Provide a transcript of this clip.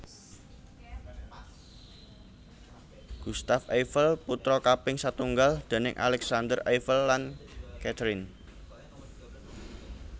Gustave Eiffel putra kaping satunggal déning Alexandre Eiffel lan Catherine